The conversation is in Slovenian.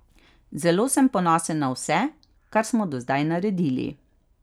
Zelo sem ponosen na vse, kar smo do zdaj naredili.